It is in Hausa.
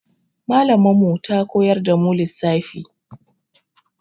Mallamar mu ta koyar da mu lissafi.